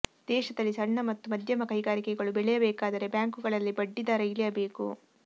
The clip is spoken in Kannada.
ದೇಶದಲ್ಲಿ ಸಣ್ಣ ಮತ್ತು ಮಧ್ಯಮ ಕೈಗಾರಿಕೆಗಳು ಬೆಳೆಯಬೇಕಾದರೆ ಬ್ಯಾಂಕುಗಳಲ್ಲಿ ಬಡ್ಡಿ ದರ ಇಳಿಯಬೇಕು